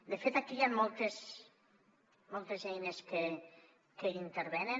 de fet aquí hi han moltes moltes eines que hi intervenen